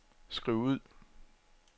skriv ud